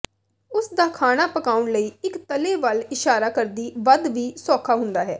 ਉਸ ਦਾ ਖਾਣਾ ਪਕਾਉਣ ਲਈ ਇੱਕ ਤਲੇ ਵੱਲ ਇਸ਼ਾਰਾ ਕਰਦੀ ਵੱਧ ਵੀ ਸੌਖਾ ਹੁੰਦਾ ਹੈ